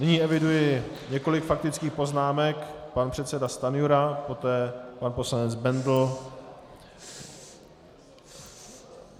Nyní eviduji několik faktických poznámek - pan předseda Stanjura, poté pan poslanec Bendl.